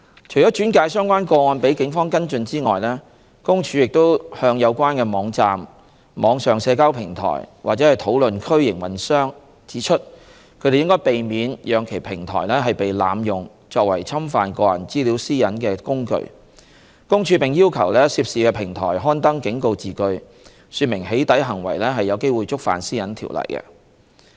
除轉介相關個案予警方跟進外，公署亦向有關網站、網上社交平台或討論區營運商指出，他們應避免讓其平台被濫用作為侵犯個人資料私隱的工具，公署並要求涉事平台刊登警告字句，說明"起底"行為有機會觸犯《私隱條例》。